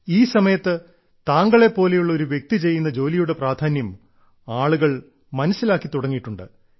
ഈ സമയത്ത് താങ്കളെ പോലെയുള്ള ഒരു വ്യക്തി ചെയ്യുന്ന ജോലിയുടെ പ്രാധാന്യം ആളുകൾ മനസ്സിലാക്കി തുടങ്ങിയിട്ടുണ്ട്